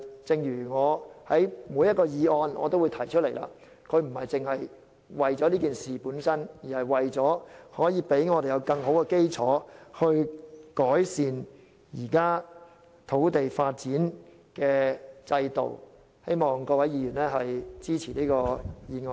正如我在每一項議案都指出，議案不單只為事件本身，而是為了讓我們有更好的基礎去改善現行的土地發展制度，希望各位議員支持這項議案。